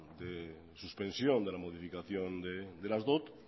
suspensión de la modificación de las dot